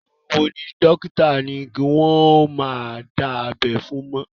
Àwọn wo ni àwọn dókítà ní kí wọ́n ó má dá abẹ́ fún mọ́?